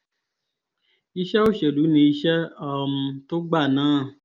iṣẹ́ òṣèlú ni iṣẹ́ um tó gbà náà